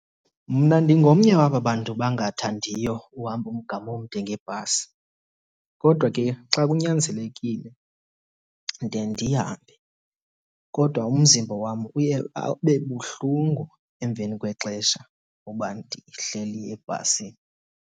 Mna ndingomnye waba bantu bangathandiyo uhamba umgama omde ngebhasi. Kodwa ke xa kunyanzelekile ndiye ndihambe kodwa umzimba wam uye abe buhlungu emva kwexesha uba ndihleli ebhasini.